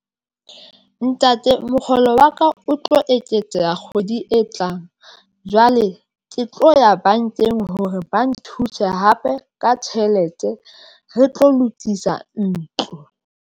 Ntate mokgolo wa ka o tlo eketseha kgwedi e tlang jwale ke tlo ya bankeng hore ba nthuse hape ka tjhelete re tlo lokisa ntlo.